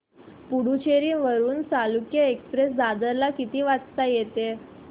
पुडूचेरी वरून चालुक्य एक्सप्रेस दादर ला किती वाजता येते